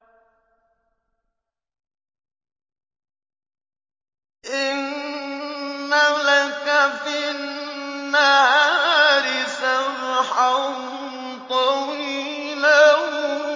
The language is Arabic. إِنَّ لَكَ فِي النَّهَارِ سَبْحًا طَوِيلًا